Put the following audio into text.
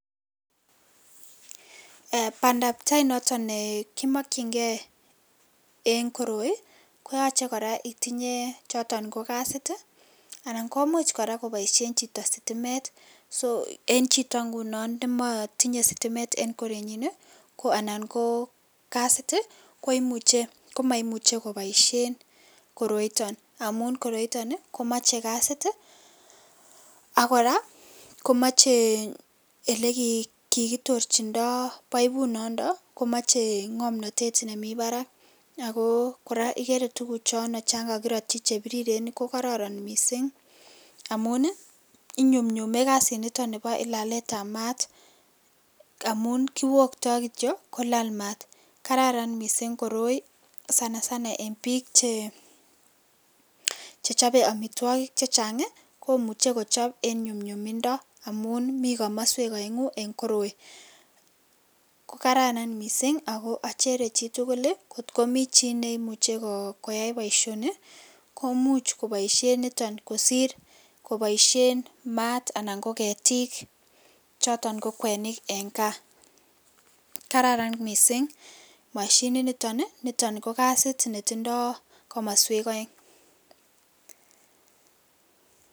Ee bandab tai noton nekimokchi ngee en koroi koyochen itinye choton kasit ii komuch koboisien chito koraa sitimet, so en chito ngunon nemotindo sitimet en korenyin ii ko anan kokasit ii koimuche, komoimuche koboisien koroiton, amun koroiton ii komoche kasit ii ak koraa komoche ole kikitorjindo poipunondo komiche ngomnotet nemi barak ako koraa ikere tuguchono chon kokirotchi chebiriren kokonoron misink, amun inyumnyume kasiniton nibo laletab maat amun kiwokto kityok kolal maat kararan misink koroi sana sana en bik che chope omitwogik chechang ii, komuche kochop en nyumnyumindo amun mi komoswek oengu en koroii, kokararan misink ako ochere chitugul kot komi chi neimuche koyai boisioni komuch koboisien niton kosir koboisien maat anan koketik choton ko kwenik en kaa kararan misink moshininiton niton kokasit netindo komoswek oeng.